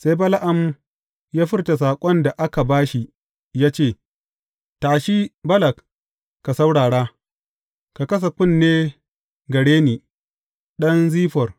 Sai Bala’am ya furta saƙon da aka ba shi ya ce, Tashi, Balak, ka saurara; ka kasa kunne gare ni, ɗan Ziffor.